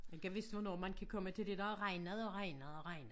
Gad vist hvornår man kan komme til det der har regnet og regnet og regnet